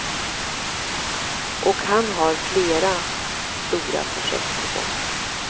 Och han har flera stora projekt på gång.